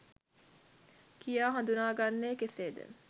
කියා හදුනා ගන්නේ කෙසේද?